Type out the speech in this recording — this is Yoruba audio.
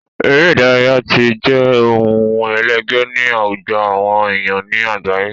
Eré ìdárayá tí jẹ ohun ẹlẹgé ní àwùjọ àwọn èèyàn ní àgbáyé